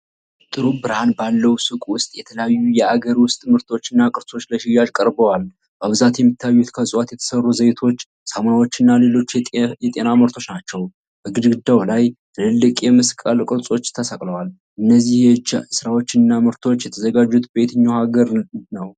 ጥሩ ብርሃን ባለው ሱቅ ውስጥ የተለያዩ የአገር ውስጥ ምርቶችና ቅርሶች ለሽያጭ ቀርበዋል። በብዛት የሚታዩት ከዕፅዋት የተሠሩ ዘይቶች፣ ሳሙናዎችና ሌሎች የጤና ምርቶች ናቸው። በግድግዳው ላይ ትልልቅ የመስቀል ቅርጾች ተሰቅለዋል። እነዚህ የእጅ ሥራዎችና ምርቶች የተዘጋጁት በየትኛው የአፍሪካ ሀገር ነው?